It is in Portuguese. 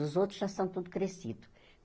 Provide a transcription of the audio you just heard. Os outros já são tudo crescidos.